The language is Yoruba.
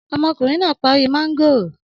Ọmọkùnrin náà parí mángòrò?